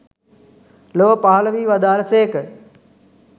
ලොව පහළ වී වදාළ සේක.